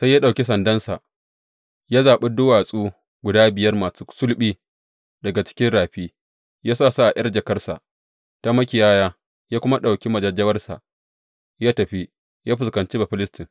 Sai ya ɗauki sandansa, ya zaɓi duwatsu guda biyar masu sulɓi daga cikin rafi, ya sa su a ’yar jakarsa ta makiyaya; ya kuma ɗauki majajjawarsa, ya tafi, yă fuskanci Bafilistin.